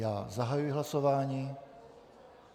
Já zahajuji hlasování.